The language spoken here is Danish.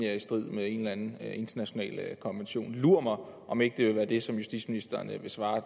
er i strid med en eller anden international konvention lur mig om ikke det vil være det som justitsministeren vil svare